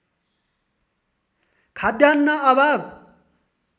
खाद्यान्न अभाव